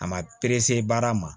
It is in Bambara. A ma perese baara ma